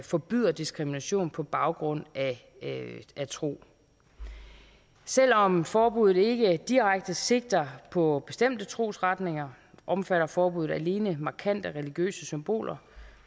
forbyder diskrimination på baggrund af tro selv om forbuddet ikke direkte sigter på bestemte trosretninger omfatter forbuddet alene markante religiøse symboler